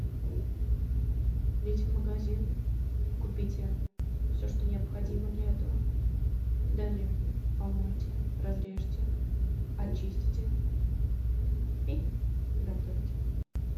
идете в магазин купите все что необходимо для этого далее помойте разрежьте очистите и готовьте